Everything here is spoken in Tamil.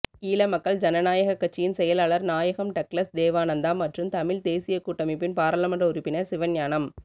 ஈழமக்கள் ஜனநாயகக் கட்சியின் செயலாளர் நாயகம் டக்ளஸ் தேவானந்தா மற்றும் தமிழ் தேசியக் கூட்டமைப்பின் பாராளுமன்ற உறுப்பினர் சிவஞானம்